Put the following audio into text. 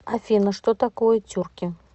афина что такое тюрки